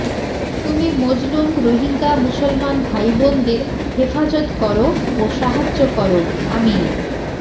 তুমি মজলুম রোহিঙ্গা মুসলমান ভাই বোনদের হেফাজত করো ও সাহায্য করো আমিন